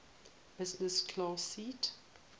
business class seat